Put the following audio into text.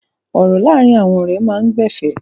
Ọ̀rọ̀ láàárín àwọn ọ̀rẹ́ máa ń gba ẹ̀fẹ̀.